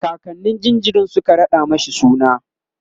kakannin jinjirin Suka raɗa mashi suna